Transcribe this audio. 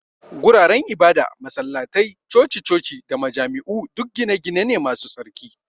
Guraren ibada, masallatai, coci-coci da majami'u duk gine-gine ne masu tsarki.